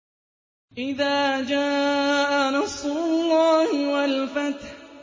إِذَا جَاءَ نَصْرُ اللَّهِ وَالْفَتْحُ